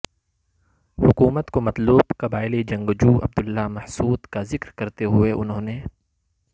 حکومت کو مطلوب قبائلی جنگجو عبداللہ محسود کا ذکر کرتے ہوئے انہوں نے